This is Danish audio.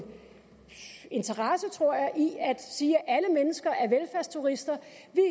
interesse tror jeg i at sige at alle mennesker er velfærdsturister